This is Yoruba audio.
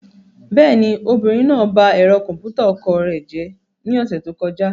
Bẹ́ẹ̀ni, obìnrin náà ba ẹ̀rọ kọ̀m̀pútà ọkọ rẹ̀ jẹ́ ní ọ̀sẹ̀ tó kọjá.